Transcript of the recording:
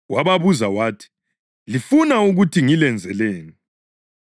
Wababuza wathi, “Lifuna ukuthi ngilenzeleni?”